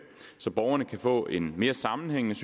så borgerne kan få et mere sammenhængende